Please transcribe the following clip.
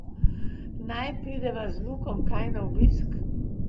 Naj prideva z Lukom kaj na obisk?